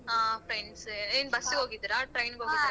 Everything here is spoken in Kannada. ಹ friends ಎ ಏನ್ bus ಇಗ್ ಹೋಗಿದಿರ train ಇಗ್ ಹೋಗಿದಿರ.